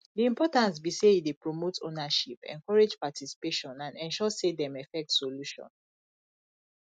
di importance be say e dey promote ownership encourage participation and ensure say dem effect solution